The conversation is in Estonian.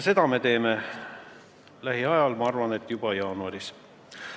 Seda me teeme lähiajal, ma arvan, et juba jaanuaris.